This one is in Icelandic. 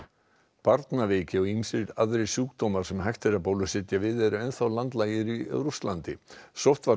barnaveiki og ýmsir aðrir sjúkdómar sem hægt er að bólusetja við eru enn þá landlægir í Rússlandi